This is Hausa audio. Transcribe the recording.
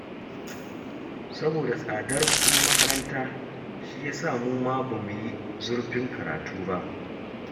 Saboda tsadar kuɗin makaranta shi ya sa mu ma ba mu yi zurfin karatu ba